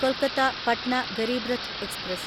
Kolkata Patna Garib Rath express